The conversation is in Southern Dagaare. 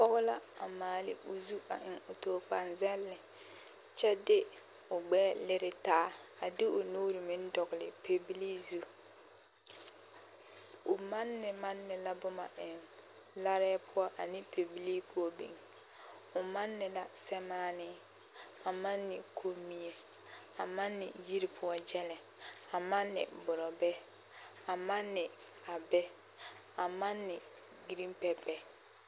Pɔge la a maale o zu a eŋ tookoaŋ zɛlle kyɛ de o gbɛɛ lere taa a de o nuuri meŋ dɔgele pɛbilii zu, o manne manne la boma eŋ larɛɛ poɔ ane pɛbilii poɔ biŋ, o manne na sɛmaanee, a manne kommie, a manne yiri poɔ gyɛlɛ, a manne borɔbɛ, a manne abɛ, a manne giriin pɛpɛ.